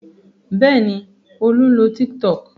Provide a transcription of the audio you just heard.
Bẹ́ẹ̀ ni, Olú ń lo Tiktok.